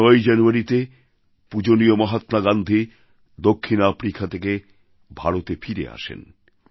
এই ৯ই জানুয়ারীতে পূজনীয় মহাত্মা গান্ধী দক্ষিণ আফ্রিকা থেকে ভারতে ফিরে আসেন